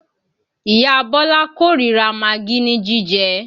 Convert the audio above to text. Ìyá Bọ́lá kó ríra magí ní jíjẹ